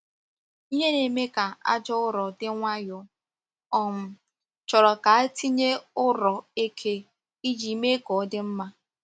Ihe na-eme ka aja ụrọ dị nwayọọ um chọrọ ka a tinye ụrọ eke iji mee ka ọ dị mma.